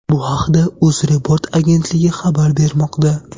Bu haqda UzReport agentligi xabar bermoqda .